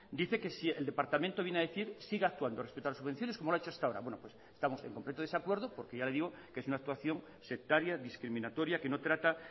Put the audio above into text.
dice que el departamento viene a decir siga actuando respeto a las subvenciones como las ha hecho hasta ahora estamos en completo desacuerdo porque ya le digo que es una actuación sectaria discriminatoria que no trata